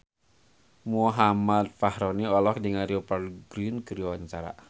Muhammad Fachroni olohok ningali Rupert Grin keur diwawancara